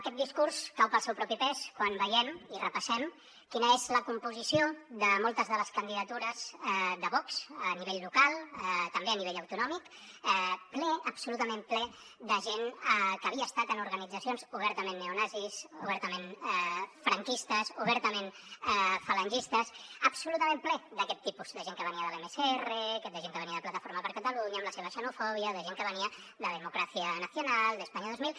aquest discurs cau pel seu propi pes quan veiem i repassem quina és la composició de moltes de les candidatures de vox a nivell local també a nivell autonòmic ple absolutament ple de gent que havia estat en organitzacions obertament neonazis obertament franquistes obertament falangistes absolutament ple d’aquest tipus de gent que venia de l’msr de gent que venia de plataforma per catalunya amb la seva xenofòbia de gent que venia de democracia nacional d’españa dos mil